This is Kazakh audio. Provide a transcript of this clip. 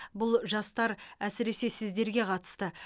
бұл жастар әсіресе сіздерге қатысты